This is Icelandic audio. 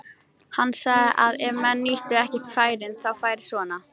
Hann sagði að ef menn nýttu ekki færin þá færi svona.